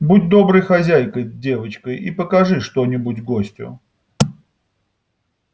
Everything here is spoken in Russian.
будь доброй хозяйкой девочка и покажи что нибудь гостю